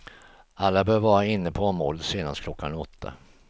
Alla bör vara inne på området senast klockan åtta.